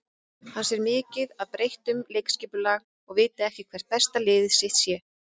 Hann sé mikið að breyta um leikskipulag og viti ekki hvert besta lið sitt sé.